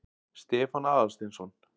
Stefán Aðalsteinsson.